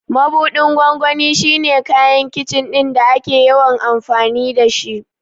Mabuɗin gwangwani shi ne kayan Kicin ɗin da ake yawan amfani da shi.